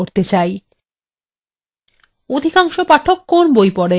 অধিকাংশ পাঠক কোন বই পড়েন